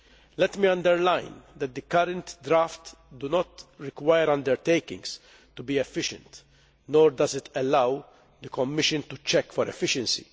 Let me underline that the current drafts do not require undertakings to be efficient, nor do they allow the Commission to check for efficiency.